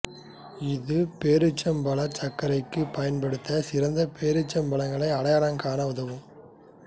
இது பேரீச்சம்பழச் சர்க்கரைக்கு பயன்படுத்த சிறந்த பேரிச்சம் பழங்களை அடையாளம் காண உதவும்